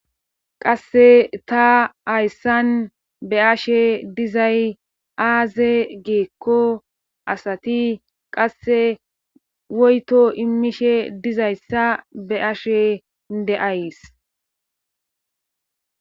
qasse ta hayssan be ashe dizay aaze geekko asati qasse woyto immishe dizayssa be ashe de7ays